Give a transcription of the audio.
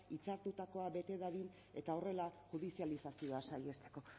hitzartutakoa bete dadin eta horrela judizializazioa saihesteko